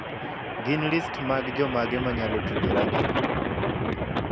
Gin list mag jomage ma anyalo tudorago?